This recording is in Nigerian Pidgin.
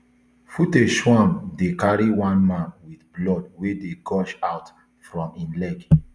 footage show am dey carry one man wit blood wey dey gush out from im leg